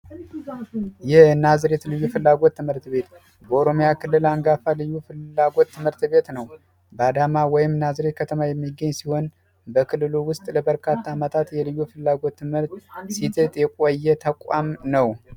የናዝሬት ልጅ ፍላጎት ትምህርት ቤት በኦሮሚያ ክልል አንጋፋ ፍላጎት ትምህርት ቤት ነው በአዳማ ወይም ናዝሬት ከተማ የሚገኝ ሲሆን በክልሉ ውስጥ ለበርካታ ፍላጎት የቆየ ተቋም ነው